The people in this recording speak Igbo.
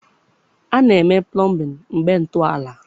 A na-eme plọmbịn mgbe ntọala